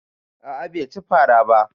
A'a bai ci fara ba